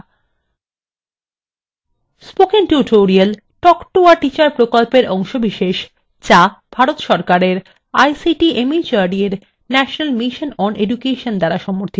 spoken tutorial talk to a teacher প্রকল্পের অংশবিশেষ যা ভারত সরকারের ict mhrd এর national mission on education দ্বারা সমর্থিত